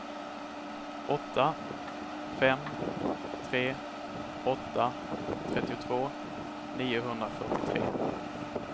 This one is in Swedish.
åtta fem tre åtta trettiotvå niohundrafyrtiotre